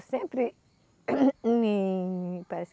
Sempre me